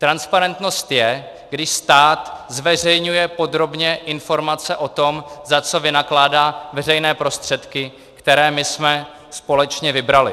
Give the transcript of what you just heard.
Transparentnost je, když stát zveřejňuje podrobně informace o tom, za co vynakládá veřejné prostředky, které my jsme společně vybrali.